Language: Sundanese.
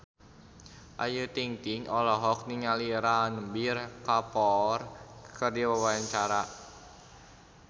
Ayu Ting-ting olohok ningali Ranbir Kapoor keur diwawancara